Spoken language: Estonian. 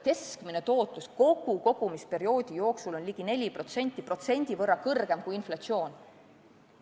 Keskmine tootlus kogu kogumisperioodi jooksul on ligi 4%, protsendi võrra kõrgem kui inflatsioon.